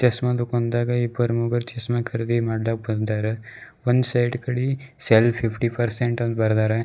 ಚಷ್ಮ ದುಕಾಂದಾಗ ಇಬ್ಬರು ಮೂವರು ಚಷ್ಮ ಖರೀದಿ ಮಾಡ್ಲಾಕ್ ಬಂದಾರ ಒನ್ ಸೈಡ್ ಇಕಡಿ ಸೇಲ್ ಫಿಫ್ಟಿ ಪರ್ಸೆಂಟ್ ಅಂತ್ ಬರ್ದಾರ.